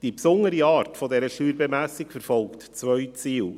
Die besondere Art dieser Steuerbemessung verfolgt zwei Ziele.